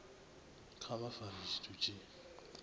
kha vha fare tshithu tshi